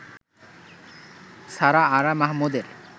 সারা আরা মাহমুদের